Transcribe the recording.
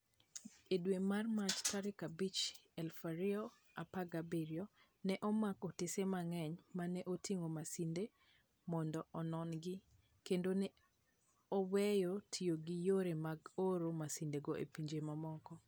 E dwe mar Mach tarik 5, 2017, ne omak otese mang'eny ma ne oting'o masindego mondo onon-gi, kendo ne oweyo tiyo gi yore mag oro masindego e pinje mamoko.